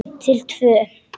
Til tvö.